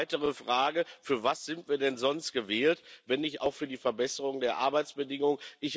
Weitere Frage Für was sind wir denn sonst gewählt, wenn nicht auch für die Verbesserung der Arbeitsbedingungen?